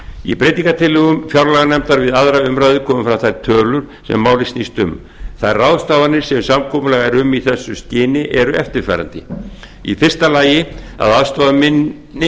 í breytingartillögum fjárlaganefndar við aðra umræðu komu fram þær tölur sem málið snýst um þær ráðstafanir sem samkomulag er um í þessu skyni eru eftirfarandi fyrsta að aðstoða minni